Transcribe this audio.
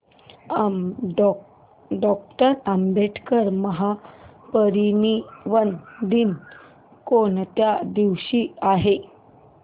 doctor Ambedkar महापरिनिर्वाण दिन कोणत्या दिवशी आहे